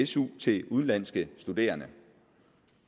su til udenlandske studerende